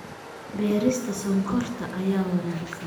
Beerista Sonkorta ayaa wanaagsan